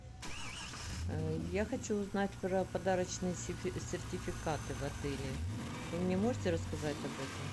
я хочу узнать про подарочные сертификаты в отеле вы мне можете рассказать об этом